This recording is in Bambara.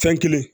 Fɛn kelen